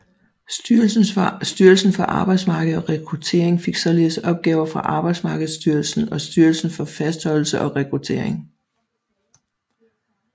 Styrelsen for Arbejdsmarked og Rekruttering fik således opgaver fra Arbejdsmarkedsstyrelsen og Styrelsen for Fastholdelse og Rekruttering